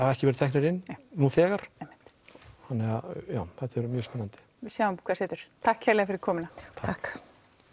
ekki verið teknir inn nú þegar einmitt þetta verður mjög spennandi við sjáum hvað setur takk kærlega fyrir komuna takk